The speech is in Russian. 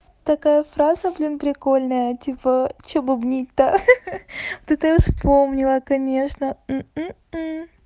такая фраза блин прикольная типа что бубнить то ха-ха вот это я вспомнила конечно м